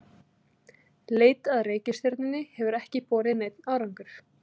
Leit að reikistjörnunni hefur ekki borið neinn árangur.